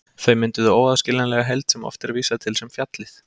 Þau mynduðu óaðskiljanlega heild sem oft er vísað til sem fjallið.